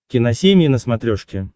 киносемья на смотрешке